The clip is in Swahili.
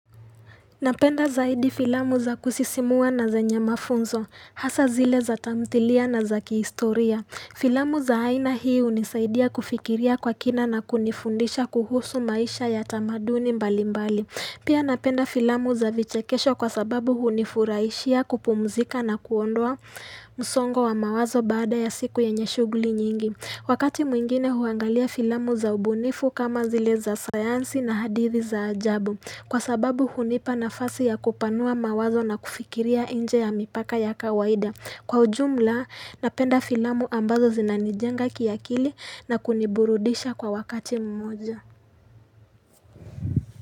Napenda zaidi filamu za kusisimua na zenye mafunzo, hasa zile za tamthilia na za kihistoria. Filamu za aina hii hunisaidia kufikiria kwa kina na kunifundisha kuhusu maisha ya tamaduni mbali mbali. Pia napenda filamu za vichekesho kwa sababu hunifuraishia kupumzika na kuondoa msongo wa mawazo baada ya siku yenye shughuli nyingi. Wakati mwingine huangalia filamu za ubunifu kama zile za sayansi na hadithi za ajabu. Kwa sababu hunipa nafasi ya kupanua mawazo na kufikiria nje ya mipaka ya kawaida. Kwa ujumla, napenda filamu ambazo zinanijenga kiakili na kuniburudisha kwa wakati mmoja.